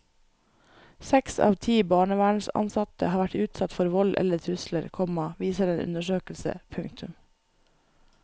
Seks av ti barnevernsansatte har vært utsatt for vold eller trusler, komma viser en undersøkelse. punktum